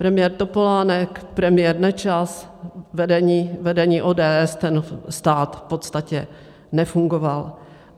Premiér Topolánek, premiér Nečas, vedení ODS, ten stát v podstatě nefungoval.